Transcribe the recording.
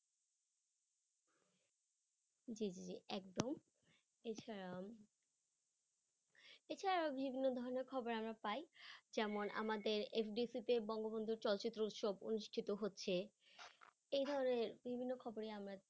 জি জি একদম ইনস্টাগ্রাম এছাড়া বিভিন্ন ধরনের খবর আমরা পায় যেমন আমাদের FDC কে বঙ্গবন্ধু চলচিত্র উৎসব অনুষ্ঠিত হচ্ছে এই ধরনের বিভিন্ন খবরই আমরা